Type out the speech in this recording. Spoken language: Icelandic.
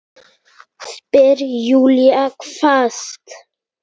spyr Júlía hvasst.